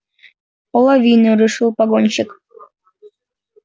половину решил погонщик